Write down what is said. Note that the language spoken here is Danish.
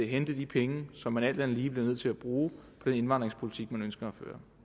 hente de penge som man alt andet lige bliver nødt til at bruge på den indvandringspolitik man ønsker